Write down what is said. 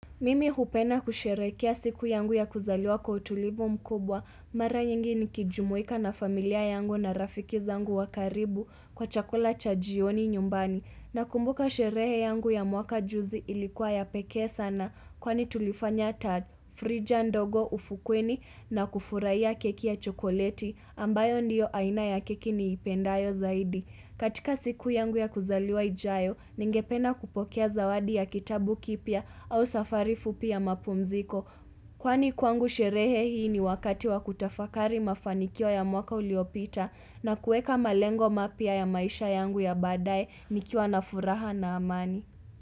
Mimi hupenda kusherekea siku yangu ya kuzaliwa kwa utulivu mkubwa, mara nyingi ni kijumuika na familia yangu na rafikiza yangu wakaribu kwa chakula chajioni nyumbani. Na kumbuka sherehe yangu ya mwaka juzi ilikuwa ya peke sana, kwa ni tulifanya ta frija ndogo ufukweni na kufurai ya keki ya chokoleti, ambayo ndiyo aina ya keki ni ipendayo zaidi. Katika siku yangu ya kuzaliwa ijayo, ningependa kupokea zawadi ya kitabu kipya au safarifu pia ya mapumziko. Kwani kwangu sherehe hii ni wakati wa kutafakari mafanikio ya mwaka uliopita na kueka malengo mapya ya maisha yangu ya badaye nikiwa na furaha na amani.